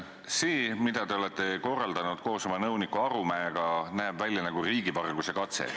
See, mida te olete korraldanud koos oma nõuniku Arumäega, näeb välja nagu riigivarguse katse.